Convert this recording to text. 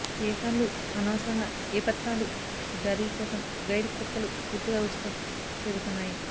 ఏ కార్లు అనవసరంగా ఏ పత్రాలు జారీ కోసం గైడ్ కుక్కలు పూర్తిగా ఉచితం చేరుతున్నాయి